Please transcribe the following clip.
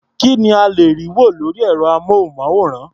Kí ni a lè rí wò lórí ẹ̀rọ-amóhùnmáwòrán?